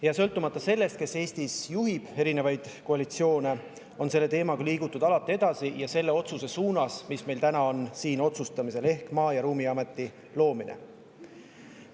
Ja sõltumata sellest, kes Eestis on juhtinud erinevaid koalitsioone, on selle teemaga liigutud alati edasi ja selle otsuse suunas, mis meil täna on siin tegemisel, ehk Maa- ja Ruumiameti loomise suunas.